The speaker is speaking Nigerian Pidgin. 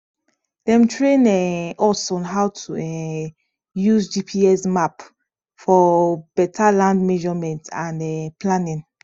dem train um us on how to um use gps map for better land measurement and um planning